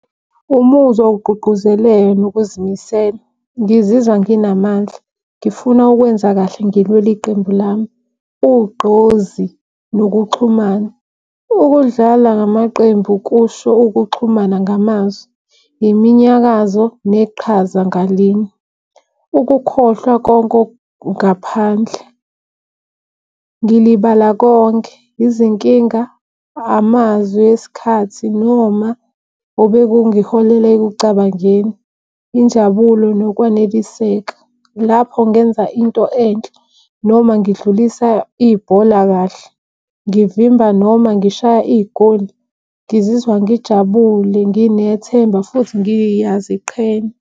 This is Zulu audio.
Umuzwa wokugqugquzela nokuzimisela. Ngizizwa nginamandla, ngifuna ukwenza kahle ngilwela iqembu lami. Ugqozi nokuxhumana ukudlala ngamaqembu kusho ukuxhumana ngamazwi, iminyakazo, neqhaza ngalinye, ukukhohlwa konke okungaphandle. Ngilibala konke izinkinga, amazwi esikhathi noma obekungiholela ekucabangeni, injabulo nokwaneliseka. Lapho ngenza into enhle noma ngidlulisa ibhola kahle, ngivimba noma ngishaya igoli. Ngizizwa ngijabule, nginethemba futhi ngiyaziqhenya.